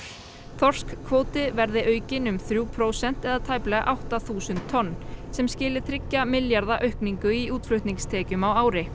þorskkvóti verði aukinn um þrjú prósent eða t æplega átta þúsund tonn sem skili þriggja milljarða aukningu í útflutningstekjum á ári